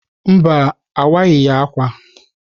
Mba, owaghi ákwà.